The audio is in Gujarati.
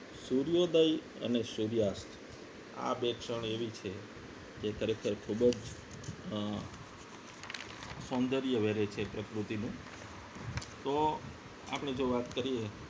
સૂર્યોદય અને સૂર્યાઅતઃ આ બે ક્ષણ એવી છે જે ખરેખર ખૂબ જ અ સૌંદર્ય વહે છે પ્રકૃતિનું તો આપણે જો વાત કરીએ